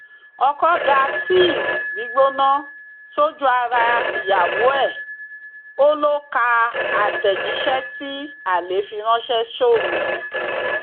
ọkọ dá tíì gbígbóná sójú ara ìyàwó ẹ ó lọ ka àtẹjíṣẹ tí alẹ fi ránṣẹ sóun